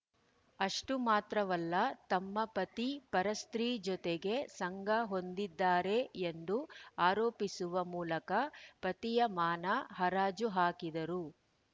ಅಷ್ಟುಮಾತ್ರವಲ್ಲ ತಮ್ಮ ಪತಿ ಪರಸ್ತ್ರೀ ಜೊತೆಗೆ ಸಂಗ ಹೊಂದಿದ್ದಾರೆ ಎಂದು ಆರೋಪಿಸುವ ಮೂಲಕ ಪತಿಯ ಮಾನ ಹರಾಜು ಹಾಕಿದರು